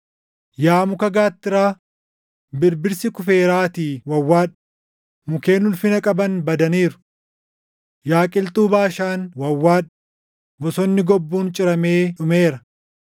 Yaa muka gaattiraa, birbirsi kufeeraatii wawwaadhu; mukkeen ulfina qaban badaniiru! Yaa qilxuu Baashaan wawwaadhu; bosonni gobbuun ciramee dhumeera!